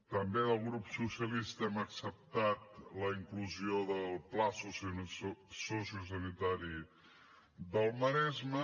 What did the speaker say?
també del grup socialista hem acceptat la inclusió del pla sociosanitari del maresme